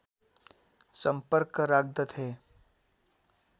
सम्पर्क राख्दथे